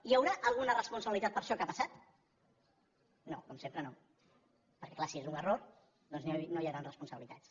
hi haurà alguna responsabilitat per això que ha passat no com sempre no perquè clar si és un error doncs no hi hauran responsabilitats